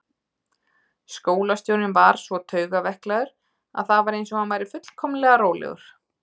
Skólastjórinn var svo taugaveiklaður að það var eins og hann væri fullkomlega rólegur.